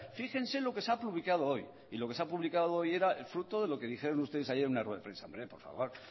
fíjense lo que se ha publicado hoy y lo que se ha publicado hoy era el fruto de lo que dijeron ustedes ayer en una rueda de prensa hombre por favor